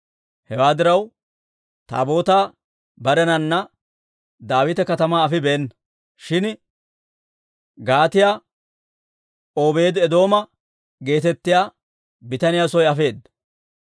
Hewaa diraw, Taabootaa barenana Daawita Katamaa afibeenna. Shin Gaatiyaa Obeedi-Eedooma geetettiyaa bitaniyaa soo afeedda.